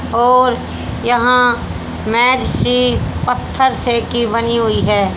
और यहां सी पत्थर से की बनी हुई है।